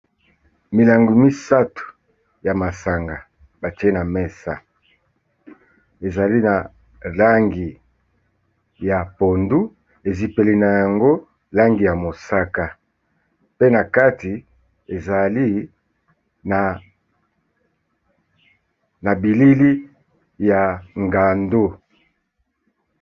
Milangi misato ya masanga batie na mesa, ezali na langi ya pondu, ezipeli na yango langi ya mosaka, pe na kati ezali na bilili ya ngando.